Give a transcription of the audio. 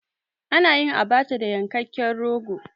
A nayin Abacha da yankekken rogo